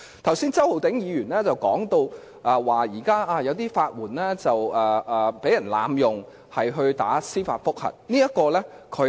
剛才周浩鼎議員提到現時有人濫用法援進行司法覆核的法律程序。